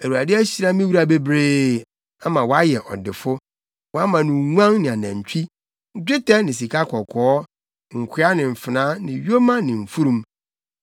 Awurade ahyira me wura bebree, ama wayɛ ɔdefo. Wama no nguan ne anantwi, dwetɛ ne sikakɔkɔɔ, nkoa ne mfenaa ne yoma ne mfurum.